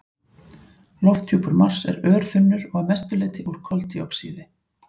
Lofthjúpur Mars er örþunnur og að mestu leyti úr koldíoxíði.